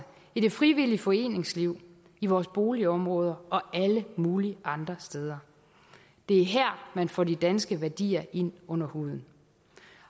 i det frivillige foreningsliv i vores boligområder og alle mulige andre steder det er her man får de danske værdier ind under huden